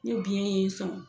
Ni biyɛn ye i sɔn